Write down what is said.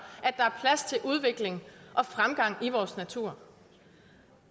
at udvikling og fremgang i vores natur